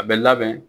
A bɛ labɛn